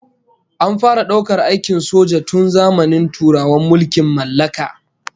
An fara daukar aikin soja tun zamanin turawan mulkin mallaka